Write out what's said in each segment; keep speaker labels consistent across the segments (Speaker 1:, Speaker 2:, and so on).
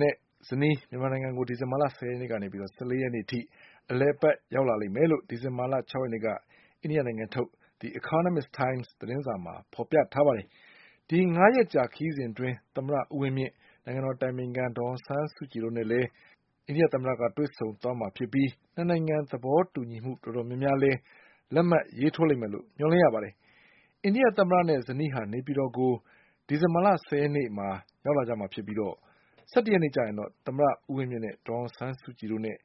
Speaker 1: နဲ့ ဇနီး မြန်မာနိုင်ငံကို ဒီဇင်ဘာ ၁၀ ရက်ကနေ ၁၄ ရက်နေ့ အထိ အလည်အပတ်ရောက်လာလိမ့်မယ်လို့ အိန္ဒိယသတင်းတွေကဖေါ်ပြပါတယ်။ ဒီငါးရက်ကြာ ခရီးစဉ်အတွင်း သမ္မတဦးဝင်းမြင့်၊ နိုင်ငံတော်အတိုင်ပင်ခံ ဒေါ်အောင်ဆန်းစုကြည်တို့နဲ့လည်း တွေ့ဆုံသွားမှာဖြစ်ပြီး ၂ နိုင်ငံ သဘောတူညီမှုတော်တော်များများလည်း လက်မှတ် ရေးထိုးလိမ့်မယ်လို့မျှော်လင့်ရပါတယ်။ အိန္ဒိယသမ္မတနဲ့ဇနီးဟာ နေပြည်တော်ကို ဒီဇင်ဘာ ၁၀ ရက်နေ့ရောက်လာကြမှာ ဖြစ်ပြီး ၁၁ ရက်နေ့မှာတော့ သမ္မတဦးဝင်းမြင့်နဲ့ ဒေါ်အောင်ဆန်းစုကြည်တို့နဲ့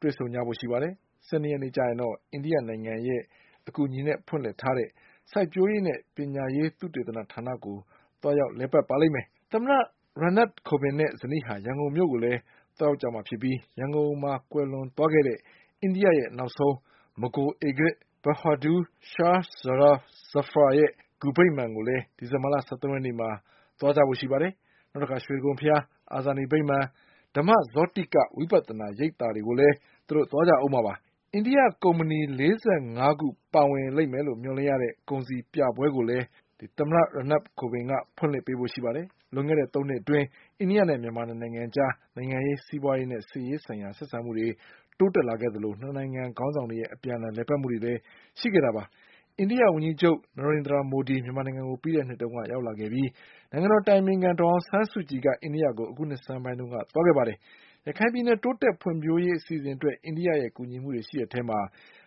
Speaker 1: တွေ့ဆုံကြဖို့ရှိပါတယ်။ ၁၂ ရက်နေ့မှာတော့ အိန္ဒိယနိုင်ငံရဲ့ အကူအညီနဲ့ဖွင့်လှစ်ထားတဲ့ စိုက်ပျိုးရေးနဲ့ပညာရေး သုတေသနဌာနကို သွားရောက်လည်ပတ်ပါလိမ့်မယ်။ သမ္မတ Ram Nath Kovindနဲ့ ဇနီးဟာ ရန်ကုန်မြို့ကိုလည်း သွားရောက်မှာဖြစ်ပြီး ရန်ကုန်မှာကွယ်လွန်ခဲ့တဲ့ အိန္ဒိယရဲ့နောက်ဆုံး မဂိုလ် ဧကရာဇ် Bahadur Shah Zafar ရဲ့ဂူဗိမာန်ကိုလည်း ဒီဇင်ဘာ ၁၃ ရက်နေ့မှာ သွားဖို့ရှိပါတယ်။ ရွှေတိဂုံဘုရား၊ အာဇာနည်ဗိမာန်၊ ဓမ္မဇောတိဝိပဿနာရိပ်သာတွေကိုလည်းသွားဦးမှာပါ။ အိန္ဒိယကုမ္ပဏီ ၄၅ ခုပါဝင်မယ်လို့မျှော်လင့်ရတဲ့ ကုန်စည်ပြပွဲကိုလည်း သမ္မတ Ram Nath Kovind က ဖွင့်လှစ် ပေးဖို့ရှိပါတယ်။ လွန်ခဲ့တဲ့သုံးနှစ်အတွင်းအိန္ဒိယနဲ့မြန်မာ ၂ နိုင်ငံအကြား နိုင်ငံရေး၊ စီးပွါးရေးနဲ့ စစ်ရေးဆိုင်ရာ ဆက်ဆံမှုတွေတိုးတက်လာခဲ့သလို ၂ နိုင်ငံခေါင်းဆောင်တွေရဲ့အပြန်အလှန် လည်ပတ်မှုတွေလည်းရှိခဲ့တာပါ။ အိန္ဒိယဝန်ကြီးချုပ် Narendra Modi မြန်မာနိုင်ငံကိုပြီးခဲ့တဲ့နှစ်တုန်းကရောက်လာခဲ့ပြီး နိုင်ငံတော်အတိုင်ပင်ခံ ဒေါ်အောင်ဆန်းစုကြည်က အိန္ဒိယကို အခုနှစ်ဆန်းပိုင်းမှာသွားရောက်ခဲ့ပါတယ်။ ရခိုင်ပြည်နယ် တိုးတက် ဖွံ့ဖြိုးရေး အစီအစဉ်တွေအတွက် အိန္ဒိယကူညီမှုတွေရှိတဲ့အထဲမှာ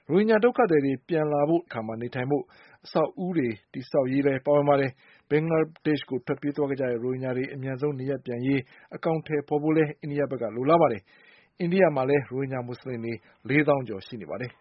Speaker 1: ရိုဟင်ဂျာဒုက္ခသည်တွေပြန်လာတဲ့အခါ နေထိုင် ဖို့ အဆောက်အဦးတွေတည်ဆောက်ရေးလည်းပါဝင်ပါတယ်။ ဘင်္ဂလားဒေ့ချ်ကိုထွက်ပြေးခဲ့ကြတဲ့ ရိုဟင်ဂျာတွေ အမြန်ဆုံး နေရပ်ပြန်ရေးအကောင်အထည်ဖေါ်ကိုလည်း အိန္ဒိယဘက်ကလိုလားတာပါ။ အိန္ဒိယနိုင်ငံမှာလည်း ရိုဟင်ဂျာမူဆလင်တွေ လေးသောင်းကျော်ရှိနေပါတယ်။